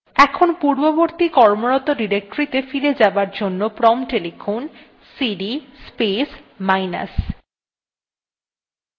এখন পূর্ববর্তী কর্মরত ডিরেক্টরীতে ফিরে যাবার জন্য prompt এ লিখুন cd space minus